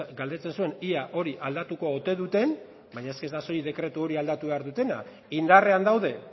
galdetzen zuen ea hori aldatuko ote duten baina ez da soilik dekretu hori aldatu behar dutena indarrean dauden